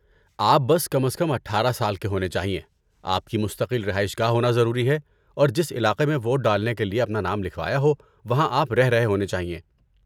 آپ بس کم از کم اٹھارہ سال کے ہونے چاہئیں، آپ کی مستقل رہائش گاہ ہونا ضروری ہے اور جس علاقے میں ووٹ ڈالنے کے لیے اپنا نام لکھوایا ہو وہاں آپ رہ رہے ہونے چاہئیں